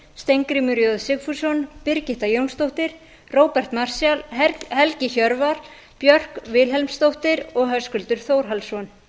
steingrímur j sigfússon birgitta jónsdóttir róbert marshall helgi hjörvar björk vilhelmsdóttir og höskuldur þórhallsson